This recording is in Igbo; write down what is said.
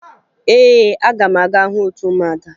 Ee, aga m aga hụ otu ụmụada